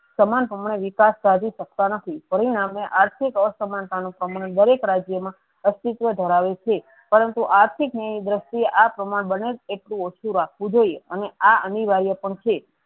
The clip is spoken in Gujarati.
સમાન હમણાં વિકાસ સાધી સકતા નથી પરિણામે આર્થીક અસામનતા નું દરેક રાજ્ય મા અસ્તીત્વ ધરાવે છે પરંતુ આર્થીક નીળી દ્રીશ્તીયે આ પ્રમાણ બને એટલું ઓછુ રાખું જોયીયે અને આ અનિવાર્ય પણ છે.